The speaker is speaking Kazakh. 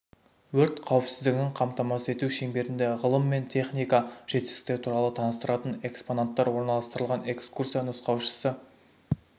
өрт қауіпсіздігін қамтамасыз ету шеңберінде ғылым мен техника жетістіктері туралы таныстыратын экспонаттар орналастырылған экскурсия нұсқаушысы